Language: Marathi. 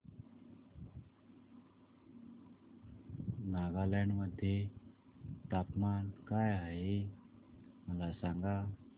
नागालँड मध्ये तापमान काय आहे मला सांगा